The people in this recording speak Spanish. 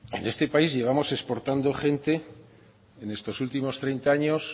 en este país llevamos exportando gente en estos últimos treinta años